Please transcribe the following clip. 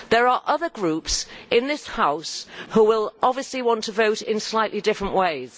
There are other groups in this House who will obviously want to vote in slightly different ways.